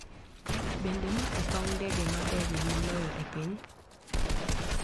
Bende ma e paw ndege maberie moloyo e piny?